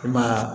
I ma ye wa